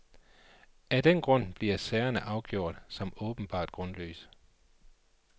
Af den grund bliver sagerne afgjort som åbenbart grundløse.